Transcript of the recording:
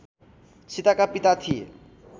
सीताका पिता थिए